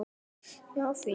Um okkur.